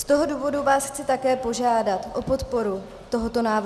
Z toho důvodu vás chci také požádat o podporu tohoto návrhu.